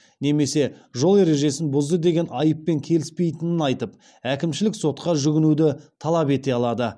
немесе жол ережесін бұзды деген айыппен келіспейтінін айтып әкімшілік сотқа жүгінуді талап ете алады